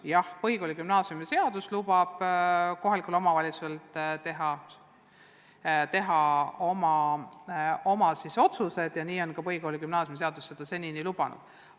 Jah, põhikooli- ja gümnaasiumiseadus lubab kohalikul omavalitsusel teha oma otsused ja nii on see senini olnud.